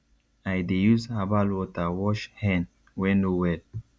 i dey use herbal water wash hen wey no well